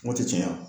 Kungo tɛ caya